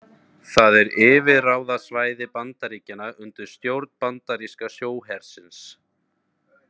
Það er yfirráðasvæði Bandaríkjanna undir stjórn bandaríska sjóhersins.